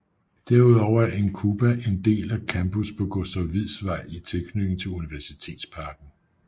Derudover er INCUBA en del af campus på Gustav Wieds Vej i tilknytning til Universitetsparken